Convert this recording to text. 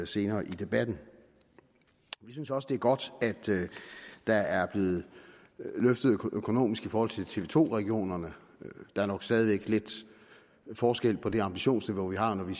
senere i debatten vi synes også det er godt at der er blevet løftet økonomisk i forhold til tv to regionerne der er nok stadig væk lidt forskel på det ambitionsniveau vi har når vi